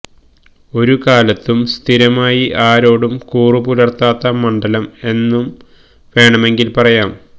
ഒരു കാലത്തും സ്ഥിരമായി ആരോടും കൂറ് പുലർത്താത്ത മണ്ഡലം എന്നു വേണമെങ്കിൽ പറയാം